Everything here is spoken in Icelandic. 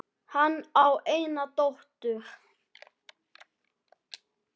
Hann á eina dóttur.